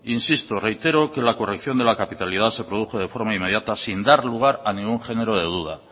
insisto y reitero que la corrección de la capitalidad se produjo de forma inmediata sin dar lugar a ningún género de duda